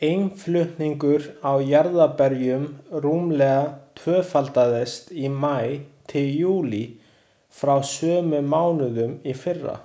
Innflutningur á jarðarberjum rúmlega tvöfaldaðist í maí til júlí frá sömu mánuðum í fyrra.